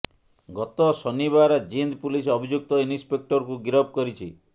ଗତ ଶନିବାର ଜିନ୍ଦ ପୁଲିସ ଅଭିଯୁକ୍ତ ଇନ୍ସପେକ୍ଟରକୁ ଗିରଫ କରିଛି